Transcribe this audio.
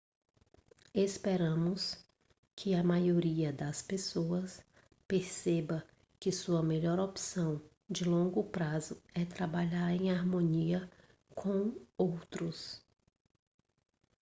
esperamos que a maioria das pessoas perceba que sua melhor opção de longo prazo é trabalhar em harmonia com outros